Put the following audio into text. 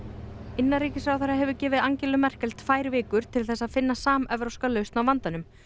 innanríkisráðherra hefur gefið Angelu Merkel tvær vikur til þess að finna samevrópska lausn á vandanum